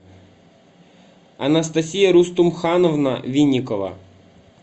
анастасия рустумхановна винникова